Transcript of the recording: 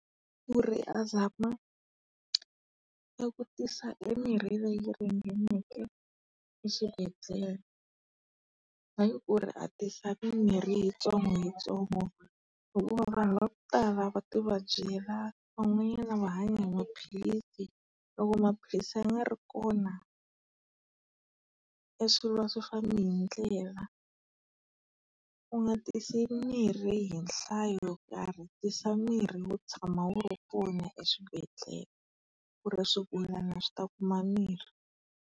Ku ri a zama e kutisa mirhi leyi ringaneke eswibedhlele. Hayi ku ri a ti sa mimorhi hi yitsongo hi yitsongo banhu va ku tala va ti vabyela, van'wanyana va hanya hi maphilisi. Loko maphilisi ya nga ri kona, e swilo a swi fambi hi ndlela. U nga tisi mirhi hi nhlayo yo karhi, tisa mirhi wo tshama wu ri kona eswibedhlele ku ri swigulana swi ta kuma mirhi.